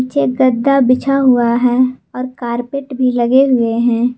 एक गद्दा बिछा हुआ है और कारपेट भी लगे हुए हैं।